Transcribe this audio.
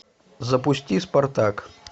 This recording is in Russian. запусти спартак